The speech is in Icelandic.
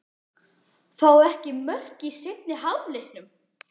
Fáum við ekki mörk í seinni hálfleiknum?